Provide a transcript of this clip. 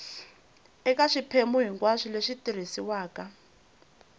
eka swiphemu hinkwaswo leswi tirhisiwaka